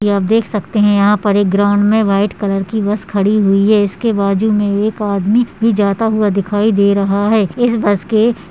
ये आप यहां देख सकते हैं यह पर एक ग्राउंड में वाइट कलर की बस खड़ी हुई है इसके बाज़ू में एक आदमी भी जाता हुआ दिखाई दे रहा है। इस बस के--